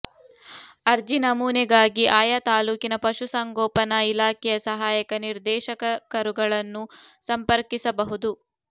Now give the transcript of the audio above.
ಅರ್ಜಿ ನಮೂನೆಗಾಗಿ ಆಯಾ ತಾಲೂಕಿನ ಪಶು ಸಂಗೋಪನಾ ಇಲಾಖೆಯ ಸಹಾಯಕ ನಿರ್ದೇಶಕರುಗಳನ್ನು ಸಂಪರ್ಕಿಸಬಹುದು